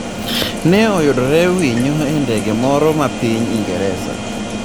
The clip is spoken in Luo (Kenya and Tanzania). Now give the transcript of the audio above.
Ne oyudre winyo e ndege moro ma piny Ingresa